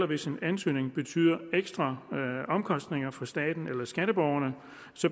hvis en ansøgning betyder ekstraomkostninger for staten eller skatteborgerne